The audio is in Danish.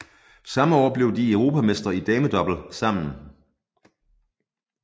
Samme år blev de Europamestre i damedouble sammen